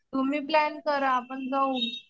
तुम्ही प्लॅन करा आपण जाऊ.